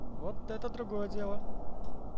вот это другое дело